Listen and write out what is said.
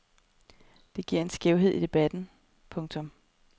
Det giver en skævhed i debatten. punktum